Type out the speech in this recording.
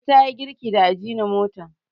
ladi ta yi girki da ajinomoto